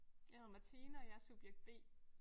Jeg hedder Martine og jeg er subjekt B